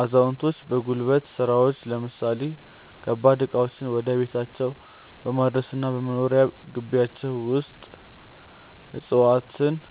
አዛውንቶች በጉልበት ሥራዎች ለምሳሌ ከባድ ዕቃዎችን ወደ ቤታቸው በማድረስና በመኖሪያ ግቢያቸው ውስጥ ዕፅዋትነ